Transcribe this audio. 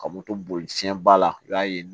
Ka moto boli fiɲɛ ba la i b'a ye